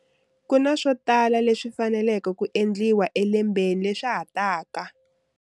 Ku na swo tala leswi faneleke ku endliwa elembeni leswa ha taka.